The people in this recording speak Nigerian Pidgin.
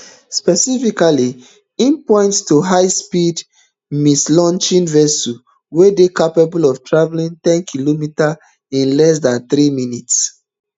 specifically im point to highspeed missilelaunching vessels wey dey capable of travelling ten km in less dan three minutes